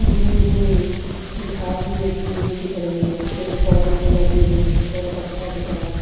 Green green घास भी उगी हुई दिख रही है। पेड़-पौधे भी लगे हुए हैं। बहोत अच्छा दिख रहा है।